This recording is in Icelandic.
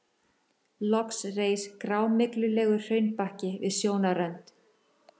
Loks reis grámyglulegur hraunbakki við sjónarrönd.